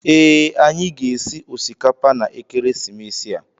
Ee, anyị ga-esi osikapa na ekeresimesi a.